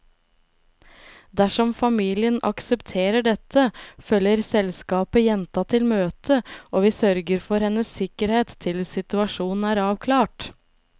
Dersom familien aksepterer dette, følger selskapet jenta til møtet, og vi sørger for hennes sikkerhet til situasjonen er avklart.